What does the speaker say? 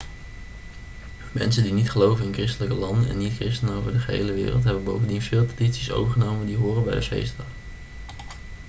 mensen die niet geloven in christelijke landen en niet-christenen over de gehele wereld hebben bovendien veel tradities overgenomen die horen bij de feestdag